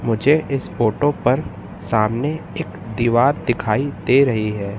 मुझे इस फोटो पर सामने एक दीवार दिखाई दे रही हैं।